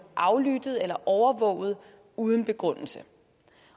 aflyttet eller overvåget uden begrundelse